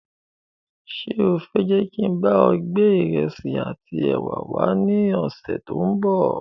Ṣé o fẹ je kín bá ọ gbé ìrẹsì àti ẹwà wá ní ọ̀sẹ̀ tòun bọ̀?